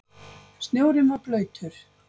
Snjórinn var blautur.